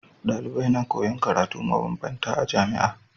Dalibai na koyan karatu ma banbanta a jamia